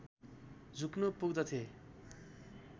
झुक्न पुग्दथे